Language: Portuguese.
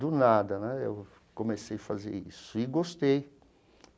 Do nada né eu comecei a fazer isso e gostei.